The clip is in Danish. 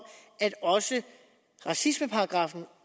at også racismeparagraffen